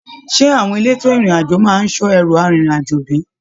Ṣe àwọn èlétò ìrìn àjò máa n sọ ẹru arinrin-ajo bi?